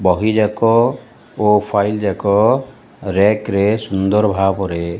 ବହି ଯାକ ଓ ଫାଇଲ ଯାକ ରୀୟକ୍ ରେ ସୁନ୍ଦର ଭାବରେ।